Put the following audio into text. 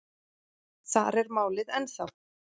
Þar er málið ennþá.